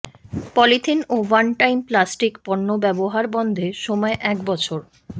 polythene ও one time plastic পণ্য ব্যবহার বন্ধে সময় এক বছর